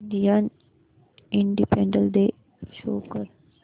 Indian independence day show कर